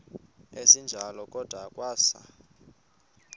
esinjalo kwada kwasa